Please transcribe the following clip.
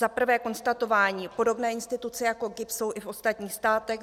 Za prvé konstatování - podobné instituce jako GIBS jsou i v ostatních státech.